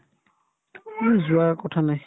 মোৰ যোৱাৰ কথা নাই